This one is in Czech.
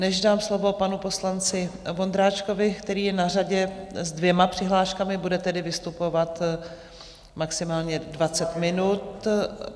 Než dám slovo panu poslanci Vondráčkovi, který je na řadě s dvěma přihláškami, bude tedy vystupovat maximálně 20 minut...